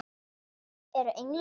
Eru englar með vængi?